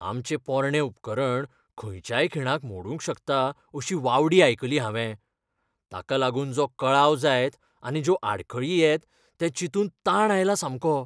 आमचें पोरणें उपकरण खंयच्याय खिणाक मोडूंक शकता अशी वावडी आयकली हांवें. ताका लागून जो कळाव जायत आनी ज्यो आडखळी येत तें चिंतून ताण आयला सामको.